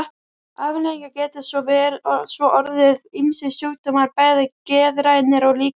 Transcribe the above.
Afleiðingarnar geta svo orðið ýmsir sjúkdómar, bæði geðrænir og líkamlegir.